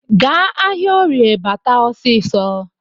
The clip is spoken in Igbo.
Gaa ahịaorie bata ọsịsọ